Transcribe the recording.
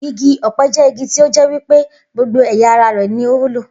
Igi ò̩pe̩ jé̩ igi tí ó jé̩ wí pé gbogbo è̩yà ara rè̩ ni ó wúlò